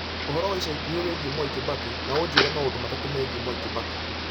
Ũhoro wa ica ikuhĩ wĩgiĩ Mwai Kibaki na ũnjĩĩre maũndũ matatũ megiĩ Mwai Kibaki